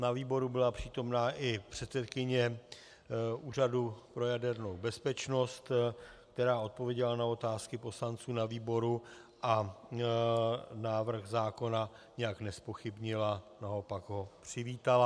Na výboru byla přítomna i předsedkyně Úřadu pro jadernou bezpečnost, která odpověděla na otázky poslanců na výboru a návrh zákona nijak nezpochybnila, naopak ho přivítala.